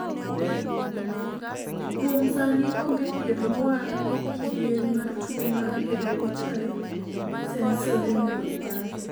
kuom sani onge thieth mowal ne kidieny mar tuo mar hereditary sensory neuropathy